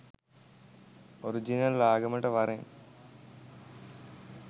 Original ආගමට වරෙන්.